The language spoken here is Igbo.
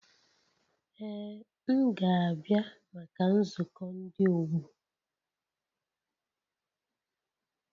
Ee m ga-abịa maka nzukọ ndi ọgbọ